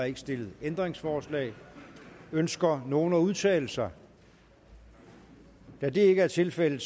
ikke stillet ændringsforslag ønsker nogen at udtale sig da det ikke er tilfældet